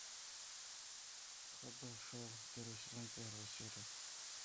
хб шоу первый сезон первая серия